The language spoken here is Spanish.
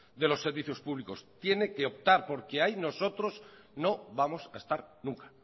de los servicios públicos tiene que optar porque ahí nosotros no vamos a estar nunca